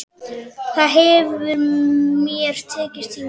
Það hefur mér tekist hingað til.